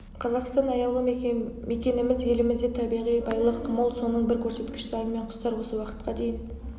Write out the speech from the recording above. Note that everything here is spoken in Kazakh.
қазақстан аяулы мекеніміз елімізде табиғи байлық мол соның бір көрсеткіші аң мен құстар осы уақытқа дейін